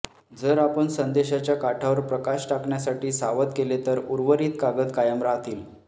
जर आपण संदेशाच्या काठावर प्रकाश टाकण्यासाठी सावध केले तर उर्वरित कागद कायम राहतील